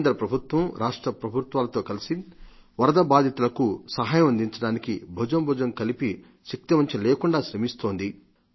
కేంద్రప్రభుత్వం రాష్ట్ర ప్రభుత్వాలతో కలిసి వరద బాధితులకు సహాయం అందించడానికి భుజం భుజం కలిపి శక్తివంచన లేకుండా శ్రమిస్తోంది